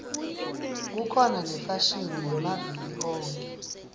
kukhona yefashini yamaviki onkhe